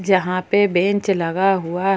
यहाँ पे बेंच लगा हुआ है।